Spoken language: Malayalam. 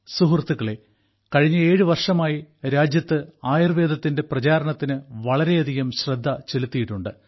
സുഹൃത്തുക്കളേ കഴിഞ്ഞ ഏഴു വർഷമായി രാജ്യത്ത് ആയുർവേദത്തിന്റെ പ്രചാരണത്തിന് വളരെയധികം ശ്രദ്ധ ചെലുത്തിയിട്ടുണ്ട്